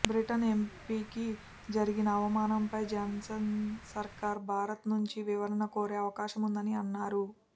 Britain ఎంపీకి జరిగిన అవమానంపై జాన్సన్ సర్కార్ భారత్ నుంచి వివరణ కోరే అవకాశముందని అన్నారు